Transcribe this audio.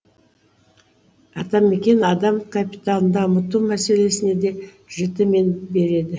атамекен адам капиталын дамыту мәселесіне де жіті мен береді